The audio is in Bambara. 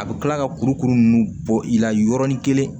A bɛ kila ka kurukuru ninnu bɔ i la yɔrɔnin kelen